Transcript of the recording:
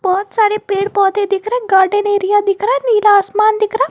बहोत सारे पेड़ पौधे दिख रहे गार्डन एरिया दिख रहा है नीला आसमान दिख रहा--